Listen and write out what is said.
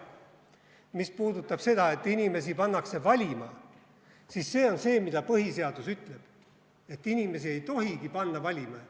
Mis puudutab seda, et inimesi pannakse valima, siis see on see, mida põhisedus ütleb, et inimesi ei tohigi panna valima.